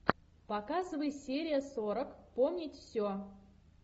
показывай серия сорок помнить все